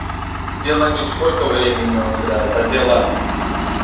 дело не сколько времени он играет а дело